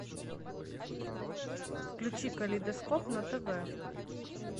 включи калейдоскоп на тв